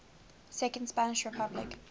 second spanish republic